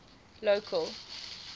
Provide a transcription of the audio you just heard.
local